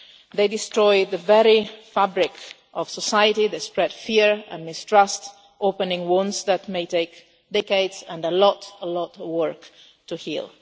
They destroy the very fabric of society and they spread fear and mistrust, opening wounds that may take decades and a lot of work to heal.